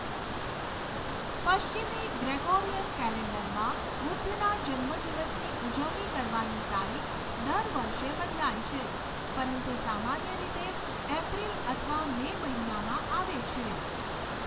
પશ્ચિમી ગ્રેગોરિયન કેલેન્ડરમાં બુદ્ધના જન્મદિવસની ઉજવણી કરવાની તારીખ દર વર્ષે બદલાય છે, પરંતુ સામાન્ય રીતે એપ્રિલ અથવા મે મહિનામાં આવે છે.